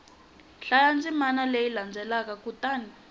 hlaya ndzimana leyi landzelaka kutani